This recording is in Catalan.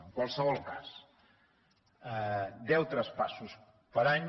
en qualsevol cas deu traspassos per any